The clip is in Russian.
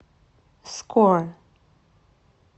скор